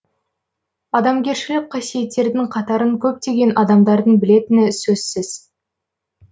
адамгершілік қасиеттердің қатарын көптеген адамдардың білетіні сөзсіз